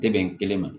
Tɛ bɛn kelen ma